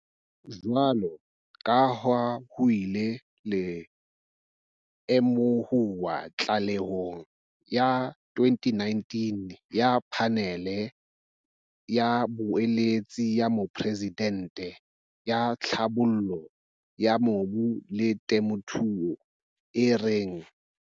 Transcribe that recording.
Jwaloka ha ho ile ha lemohuwa tlalehong ya 2019 ya Phanele ya Boeletsi ya Moporesidente ya Tlhabollo ya Mobu le Temothuo, e reng.